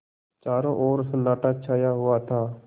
चारों ओर सन्नाटा छाया हुआ था